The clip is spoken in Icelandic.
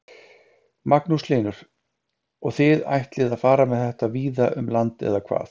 Magnús Hlynur: Og þið ætlið að fara með þetta víða um land eða hvað?